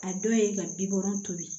A dɔ ye ka bi wɔɔrɔ to ye